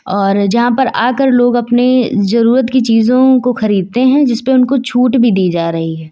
और यहां पर आकर लोग अपनी जरूरत की चीजों को खरीदते हैं जिस पे उनको छूट भी दी जा रही है।